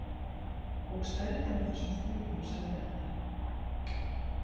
Og stærðin á þessum flugum, sagði Edda.